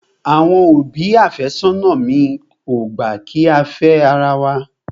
Àwọn òbí àfẹ́sónà mi ò gbà kí á fẹ́ ara wa.